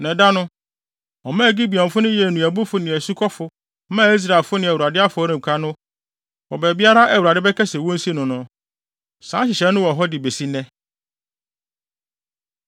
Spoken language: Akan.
Na ɛda no, ɔmaa Gibeonfo no yɛɛ nnuabufo ne asukɔfo maa Israelfo ne Awurade afɔremuka no wɔ baabiara a Awurade bɛka sɛ wonsi no no. Saa nhyehyɛe no wɔ hɔ de besi nnɛ.